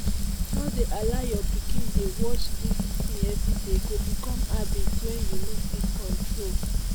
no dey allow your pikin dey watch dis thing every day e go become habit wey you no fit control